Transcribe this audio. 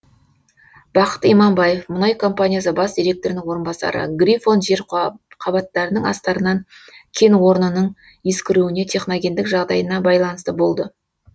бақыт иманбаев мұнай компаниясы бас директорының орынбасары грифон жер қабаттарының астарынан кенорнының ескіруіне техногендік жағдайына байланысты болды